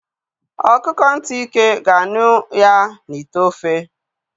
Ọkụkọ ntị ike ga-anụ ya n'ite ofe.